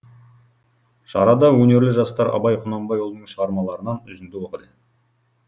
шарада өнерлі жастар абай құнанбайұлының шығармаларынан үзінді оқыды